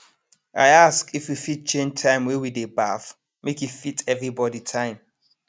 i ask if we fit change time wey we dey baff make e fit everybody time